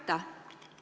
Aitäh!